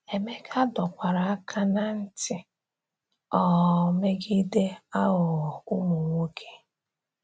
Emeka dọkwara aka ná ntị um megide “aghụghọ ụmụ nwoke.”